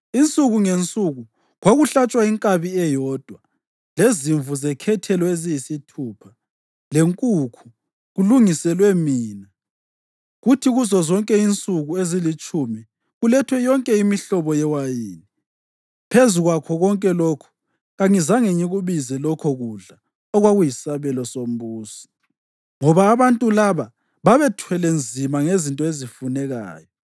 Insuku ngensuku kwakuhlatshwa inkabi eyodwa, lezimvu zekhethelo eziyisithupha, lenkukhu, kulungiselwe mina, kuthi kuzozonke insuku ezilitshumi kulethwe yonke imihlobo yewayini. Phezu kwakho konke lokhu, kangizange ngikubize lokho kudla okwakuyisabelo sombusi, ngoba abantu laba babethwele nzima ngezinto ezifunekayo.